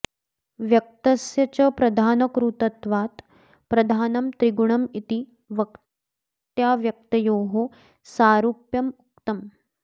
व्यक्तस्य च प्रधानकृतत्वात् प्रधानं त्रिगुणम् इति व्यक्ताव्यक्तयोः सारूप्यमुक्तम्